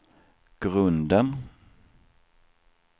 grunden